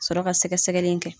Ka sɔrɔ ka sɛgɛsɛgɛli kɛ.